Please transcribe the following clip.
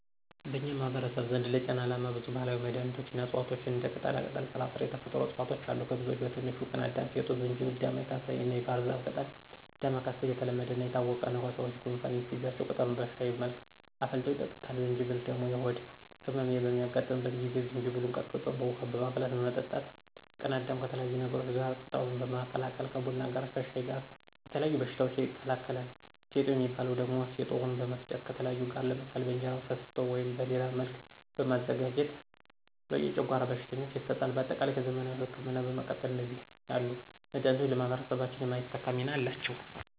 በኛ ማህበረሰብ ዘንድ ለጤና አላማ ብዙ ባህላዊ መንገዶች እና እፅዋቷች እንደ ቅጠላቅጠል፣ ስራስር የተፈጥሮ እፅዋቶች አሉ። ከብዙወች በትንሹ፦ ቅናዳም፣ ፌጦ፣ ጅንጀብል፣ ዳማከስይ እናየባህርዛፍ ቅጠል። ዳማከስይ የተለሐደናየታወቀ ነው። ሰወች ጎንፋን ሲይዛቸው ቅጠሉን በሽሀይ መልክ አፍልተው ይጠጡታል። ጅንጀብል ደሞ የሆድ እመም በሚያጋጥ ጊዜ ጅንጀብሉን ቀጥቅጦ በውሀ በማፍላት መጠጣት። ቅናዳም ከተለያዩ ነገሮች ጋር ቅጠሉን በመቀላቀል ከቡና ጋረ ከሻይ ጋር የተለያዩ በሽታወችን ይከላከላል። ፌጦ ሚባው ደሞ ፌጦውን በመፍጨት ከተለያዩ ጋር ለምሳሌ በእንጀራ ፍትፍት ወይም በሌላ መልክ በማዘጋጀት የጨጓራ ቀሽተኞች ይሰጣል። በአጠቃላይ ከዘመናዊ እክምና በመቀጠል እንደዚህ ያሉ መዳኒቶች ለማህበረሰባችን የማይተካ ሚና አላቸው።